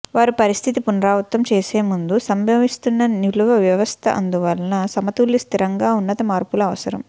వారు పరిస్థితి పునరావృతం చేసే ముందు సంభవిస్తున్న నిల్వ వ్యవస్థ అందువలన సమతౌల్య స్థిరంగా ఉన్నత మార్పులు అవసరం